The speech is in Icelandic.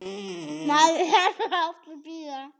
Maður þarf svo oft að bíða!